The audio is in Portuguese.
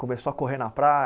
Começou a correr na